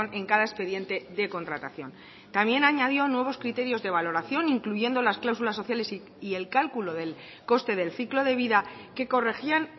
en cada expediente de contratación también añadió nuevos criterios de valoración incluyendo las cláusulas sociales y el cálculo del coste del ciclo de vida que corregían